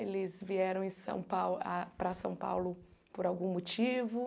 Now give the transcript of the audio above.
Eles vieram em São Pau ah para São Paulo por algum motivo?